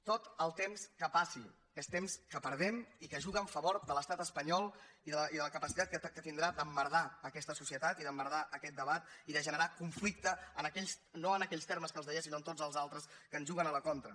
tot el temps que passi és temps que perdem i que juga en favor de l’estat espanyol i de la capacitat que tindrà d’emmerdar aquesta societat i d’emmerdar aquest debat i de generar conflicte no en aquells termes que els deia sinó en tots els altres que ens juguen a la contra